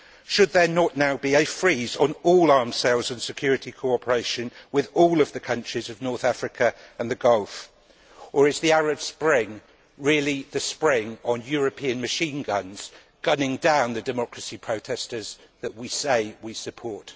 Should there not now be a freeze on all arms sales and security cooperation with all of the countries of North Africa and the Gulf, or is the Arab Spring really the spring for European machine guns, gunning down the democracy protesters that we say we support?